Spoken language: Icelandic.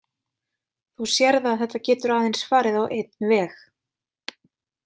Þú sérð að þetta getur aðeins farið á einn veg.